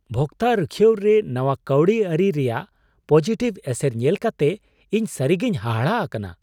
ᱵᱷᱚᱠᱛᱟ ᱨᱩᱠᱷᱟᱹᱭᱟᱹᱣ ᱨᱮ ᱱᱟᱶᱟ ᱠᱟᱹᱣᱰᱤ ᱟᱹᱨᱤᱠᱚ ᱨᱮᱭᱟᱜ ᱯᱚᱡᱤᱴᱤᱵᱷ ᱮᱥᱮᱨ ᱧᱮᱞ ᱠᱟᱛᱮ ᱤᱧ ᱥᱟᱹᱨᱤᱜᱮᱧ ᱦᱟᱦᱟᱲᱟᱜ ᱟᱠᱟᱱᱟ ᱾